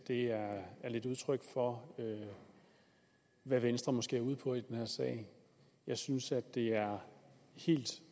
er lidt udtryk for hvad venstre måske er ude på i den her sag jeg synes at det er helt